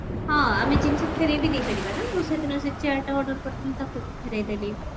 ହଁ ଆମେ ଜିନିଷ ଫେରେଇବି ଦେଇପାରିବ ନା ମୁଁ ସେଦିନ ଦେଇ chair ତା order କରିଥିଲି ତାକୁ ବି ଫେରେଇଦେଲି